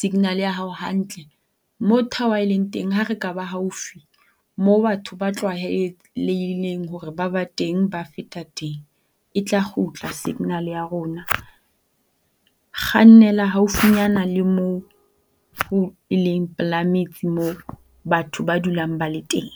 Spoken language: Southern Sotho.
signal ya hao hantle. Mo tower eleng teng ha re ka ba haufi mo batho ba tlwaheleileng hore ba ba teng ba feta teng, e tla kgutla signal ya rona. Kgannela haufinyana le moo eleng pela metse mo batho ba dulang ba le teng.